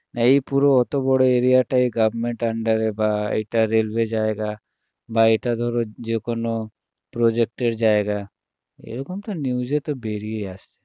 এই পুরো অত বড় area টা এই government under এ বা এটা railway জায়গা বা এটা ধরো যেকোনো project এর জায়গা এরকম তো news এ তো বেরিয়ে আসে